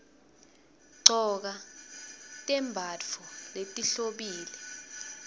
gcoka tembatfo letihlobile